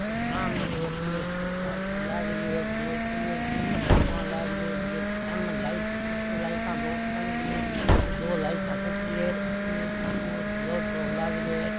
और सामने दो तीन एक फोटो वा सी लाग रही है दो तीन फोटो वा उन लाग रही है एक सामे लाइट ऊपर लाइट टंग रही है ऊपर दो लाइट चस रही है अठीने एक सामे और फ्लोर सो लाग रहियो है।